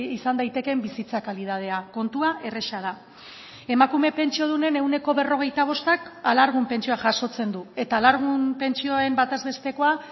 izan daitekeen bizitza kalitatea kontua erraza da emakume pentsiodunen ehuneko berrogeita bostak alargun pentsioa jasotzen du eta alargun pentsioen bataz bestekoa